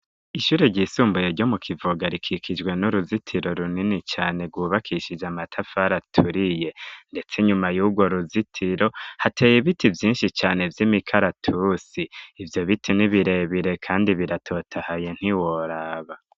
Ishure ryisumbuye ryo mu kivuga rikikijwe n'uruzitiro runini cane rwubakishije amatafari aturiye ndetse inyuma yubwo ruzitiro hateye biti vyishi cane vy'imikaratusi ivyo biti n'ibirebire kandi biratotahaye ntiworaba